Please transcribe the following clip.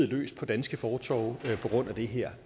løs på danske fortove på grund af det her